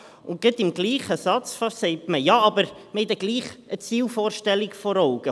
Und beinahe im selben Satz sagt man: Ja, aber wir haben dann gleichwohl eine Zielvorstellung vor Augen.